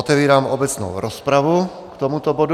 Otevírám obecnou rozpravu k tomuto bodu.